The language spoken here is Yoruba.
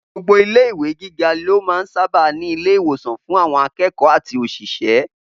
Gbogbo ilé ìwé gíga ló máa sábà ń ní ilé ìwòsàn fún àwọn akẹ́kọ̀ọ́ àti òṣìṣẹ́